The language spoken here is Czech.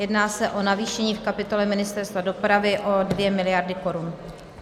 Jedná se o navýšení v kapitole Ministerstva dopravy o 2 miliardy korun.